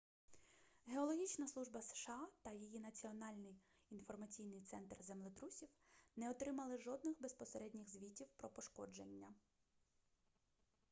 геологічна служба сша та її національний інформаційний центр землетрусів не отримали жодних безпосередніх звітів про пошкодження